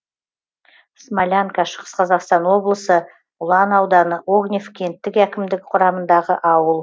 смолянка шығыс қазақстан облысы ұлан ауданы огнев кенттік әкімдігі құрамындағы ауыл